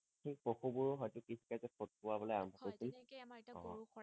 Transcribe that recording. সেই পশু বোৰো হয়টো কৃষি কাৰ্য্যত খিটোৱাবলৈ আৰম্ভ কৰিছিল হয় তেনেকে আমাৰ এতিয়া গৰুক কৰে